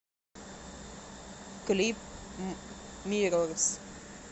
клип миррорс